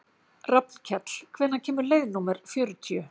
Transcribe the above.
Rafnkell, hvenær kemur leið númer fjörutíu?